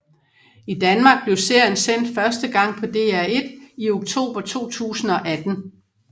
I Danmark blev serien sendt første gang på DR1 i oktober 2018